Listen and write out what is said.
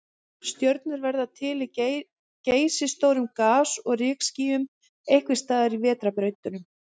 Stjörnur verða til í geysistórum gas- og rykskýjum, einhvers staðar í vetrarbrautunum.